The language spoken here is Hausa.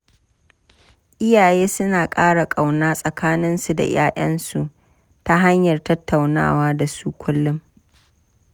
Iyaye suna ƙara ƙauna tsakaninsu da 'ya'yansu ta hanyar tattaunawa da su kullum.